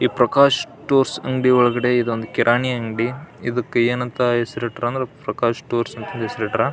ಈ ಪ್ರಕಾಶ್ ಸ್ಟೋರ್ಸ್ ಅಂಗಡಿ ಒಳಗಡೆ ಇದೊಂದು ಕಿರಾಣಿ ಅಂಗಡಿ ಇದಕ್ಕೆ ಏನಂತ ಹೆಸರಿಟ್ಟರು ಅಂದ್ರೆ ಪ್ರಕಾಶ್ ಸ್ಟೋರ್ಸ್ ಅಂತ ಹೆಸರಿಟ್ಟಾರ.